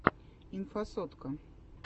инфасотка